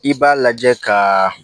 I b'a lajɛ kaaa